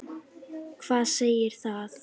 Hvað segir það?